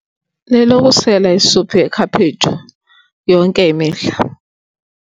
Lelokusela isuphu yekhaphetshu yonke imihla.